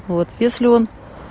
вот если он